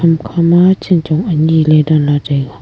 hama chanchong anyiley danla taiga.